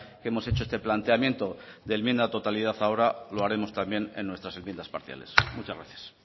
que hemos hecho este planteamiento de enmienda a la totalidad ahora lo haremos también en nuestras enmiendas parciales muchas gracias